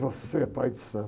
Você é pai de santo.